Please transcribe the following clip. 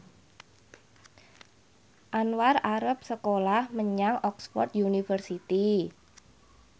Anwar arep sekolah menyang Oxford university